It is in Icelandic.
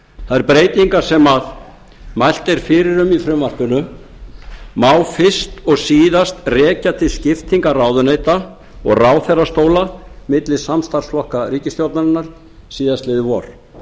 þær breytingar sem mælt er fyrir um í frumvarpinu má fyrst og síðast rekja til skiptinga ráðuneyta og ráðherrastóla milli samstarfsflokka ríkisstjórnarinnar síðastliðið vor